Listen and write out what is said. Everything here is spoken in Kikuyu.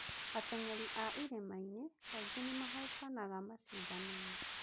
Ateng'eri a irĩma-inĩ kaingĩ nĩ mahootaga macindano-inĩ